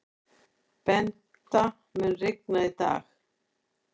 Bengta, mun rigna í dag?